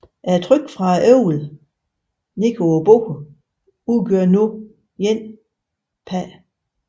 Trykket fra æblet ned mod bordet udgør nu 1 Pa